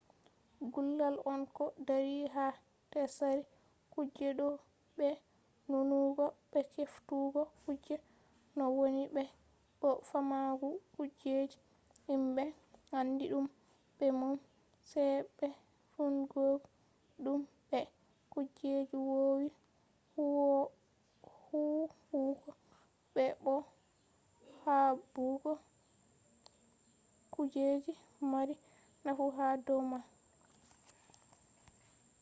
gullal on ko dari ha tsari kuje ɗo be nunugo be heftugo kuje no woni be bo faamugo kujeji himɓe andi ɗum be mum sai be fondugo ɗum be kujeji wowi huwugo be bo haɓugo kujeji mari nafu ha dow man